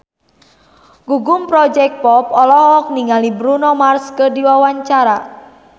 Gugum Project Pop olohok ningali Bruno Mars keur diwawancara